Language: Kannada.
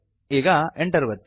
ಈಗ Enter ಒತ್ತಿ